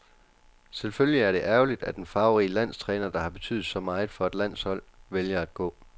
Selvfølgelig er det ærgerligt, at en farverig landstræner, der har betydet så meget for et landshold, vælger at gå.